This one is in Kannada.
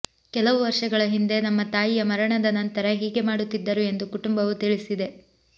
ಕೆಲವು ವರ್ಷಗಳ ಹಿಂದೆ ನಮ್ಮ ತಾಯಿಯ ಮರಣದ ನಂತರ ಹೀಗೆ ಮಾಡುತ್ತಿದ್ದರು ಎಂದು ಕುಟುಂಬವು ತಿಳಿಸಿದೆ